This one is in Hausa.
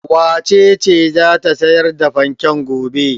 Wace ce za ta sayar da fanken gobe?